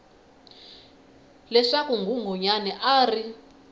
leswaku nghunghunyana a a ri